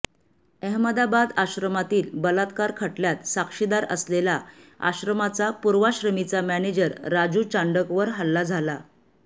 अहमदाबाद आश्रमातील बलात्कार खटल्यात साक्षीदार असलेला आश्रमाचा पूर्वाश्रमीचा मॅनेजर राजू चांडकवर हल्ला झाला